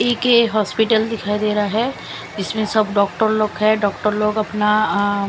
एक ये हॉस्पिटल दिखाई दे रहा है इसमें सब डॉक्टर लोग है डॉक्टर लोग अपना अअ--